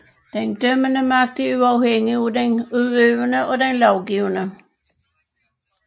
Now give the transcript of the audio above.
Den dømmende magt er uafhængig af den udøvende og den lovgivende